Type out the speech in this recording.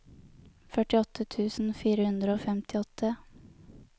førtiåtte tusen fire hundre og femtiåtte